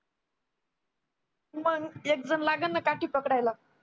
मंग एक जण लागल ना काठी पकडायला